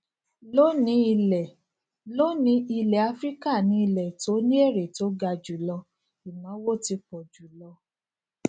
lónìí ilẹ lónìí ilẹ áfíríkà ni ilẹ to ni èrè to ga julo ìnáwó ti pọ jù lọ